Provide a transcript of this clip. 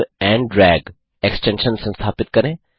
grab and drag extension संस्थापित करें